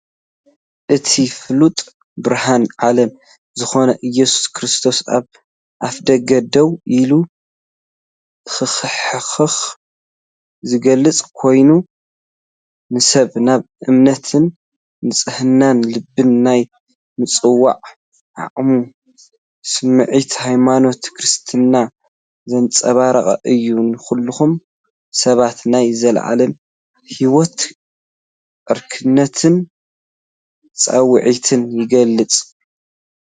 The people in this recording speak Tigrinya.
እቲ ፍሉጥ "ብርሃን ዓለም" ዝኾነ ኢየሱስ ክርስቶስ፡ ኣብ ኣፍደገ ደው ኢሉ ክኹሕኩሕ ዝገልጽ ኮይኑ፡ ንሰባት ናብ እምነትን ንጽህና ልብን ናይ ምጽዋዕ ዓሚቝ ስምዒት ሃይማኖት ክርስትና ዘንጸባርቕ እዩ። ንዅሎም ሰባት ናይ ዘለኣለም ህይወትን ዕርክነትን ጻውዒት ይገልጽ።